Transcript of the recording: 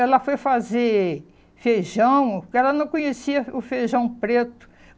Ela foi fazer feijão, porque ela não conhecia o feijão preto.